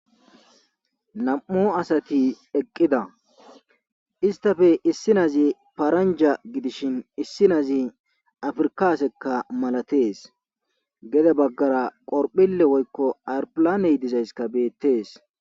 nam7o asati eqqida istafe issinazi paranja gidishin issinazi afrkasekka malatees gede baggara qorphille woykko ayrpilaney dizayska beettees